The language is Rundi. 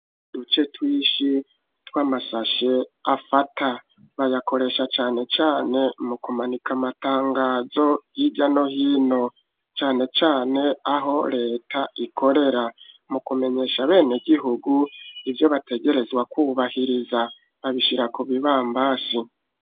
Uduce twishi tw'amasashe afata bayakoresha cyane cyane mu kumanika amatangazo y'ijya no hino cane cane aho leta ikorera mu kumenyesha abene gihugu ibyo bategerezwa kubahiriza babishira kubibambazi.